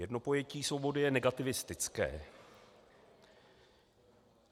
Jedno pojetí svobody je negativistické.